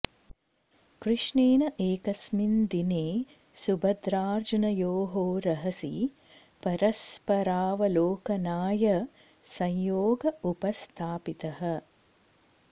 कृष्णेन एकस्मिन् दिने सुभद्रार्जुनयोः रहसि परस्परावलोकनाय संयोग उपस्थापितः